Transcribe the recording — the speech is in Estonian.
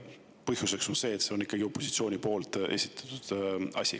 Põhjuseks on see, et see on ikkagi opositsiooni esitatud asi.